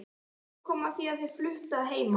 Svo kom að því að þær fluttu að heiman.